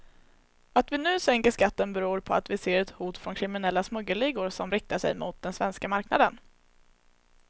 Att vi nu sänker skatten beror på att vi ser ett hot från kriminella smuggelligor som riktar sig mot den svenska marknaden.